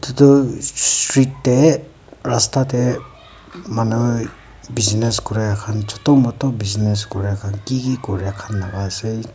etu street te rasta te manu business kori khan chota mota khan business Kora khan kiki Kora khan ase.